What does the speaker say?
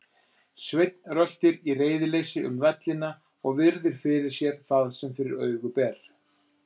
Sveinn röltir í reiðileysi um vellina og virðir fyrir sér það sem fyrir augu ber.